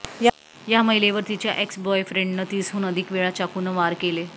या महिलेवर तिच्या एक्स बॉयफ्रेंडनं तीसहून अधिक वेळा चाकूनं वार केले